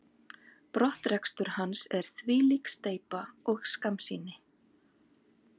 Brottrekstur hans er þvílík steypa og skammsýni.